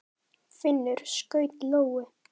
Finnur skaut lóu.